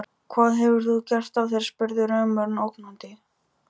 Hvað hefur þú gert af þér? spurði rumurinn ógnandi.